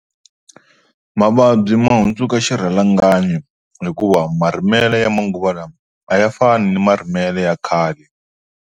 Mavabyi ma hundzuka xirhalanganyi hikuva marimelo ya manguva lawa a ya fani ni marimelo ya khale.